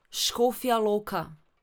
Škofja Loka.